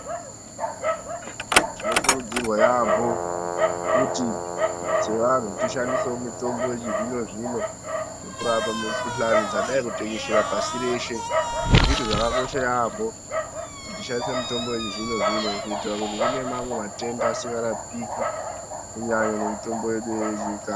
Tinokurudzirwa yampho kuti seantu tishandisewo mitombo yechizvino-zvino kurapa mikhuhlani dzadai kutekeshera pashi reshe zvunhu zvakosha yampho kuti tishandise mitombo yechizvino-zvino kuitira kuti kune mamwe matenda asikarapiki ngemitombo yedu yechi....